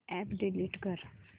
app delete कर